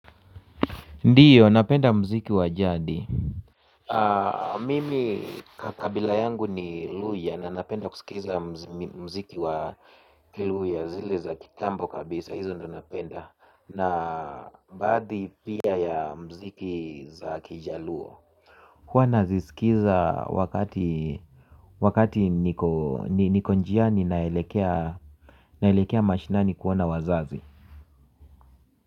Ndiyo, napenda mziki wa jadii. Mimi kabila yangu ni Luhya na napenda kusikiza mziki wa Luhya zile za kitambo kabisa, hizo ndio napenda na baadhi pia ya mziki za kijaluo huwa naziskiza wakati wakati niko njiani naelekea mashinani kuona wazazi.